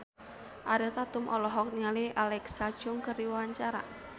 Ariel Tatum olohok ningali Alexa Chung keur diwawancara